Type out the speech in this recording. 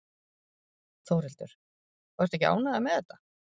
Þórhildur: Og ertu ekki ánægður með þetta?